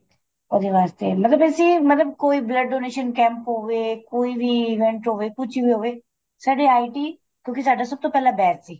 ਉਹਦੇ ਵਾਸਤੇ ਮਤਲਬ ਅਸੀਂ ਕੋਈ blood donation camp ਹੋਵੇ ਕੋਈ ਵੀ event ਹੋਵੇ ਕੁੱਝ ਵੀ ਹੋਵੇ ਸਾਡੇ IT ਕਿਉਂਕਿ ਸਾਡਾ ਸਭ ਤੋਂ ਪਹਿਲਾਂ batch ਸੀ